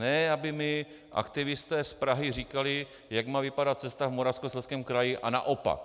Ne aby mi aktivisté z Prahy říkali, jak má vypadat cesta v Moravskoslezském kraji a naopak.